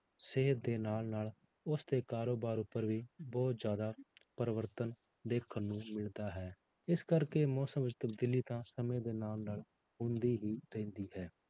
ਸਿਹਤ ਦੇ ਨਾਲ ਨਾਲ ਉਸਦੇ ਕਾਰੋਬਾਰ ਉੱਪਰ ਵੀ ਬਹੁਤ ਜ਼ਿਆਦਾ ਪਰਿਵਰਤਨ ਦੇਖਣ ਨੂੰ ਮਿਲਦਾ ਹੈ, ਇਸ ਕਰਕੇ ਮੌਸਮ ਵਿੱਚ ਤਬਦੀਲੀ ਤਾਂ ਸਮੇਂ ਦੇ ਨਾਲ ਨਾਲ ਹੁੰਦੀ ਹੀ ਰਹਿੰਦੀ ਹੈ।